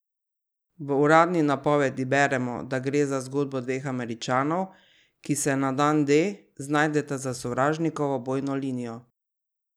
V uradni napovedi beremo, da gre za zgodbo dveh Američanov, ki se na Dan D znajdeta za sovražnikovo bojno linijo.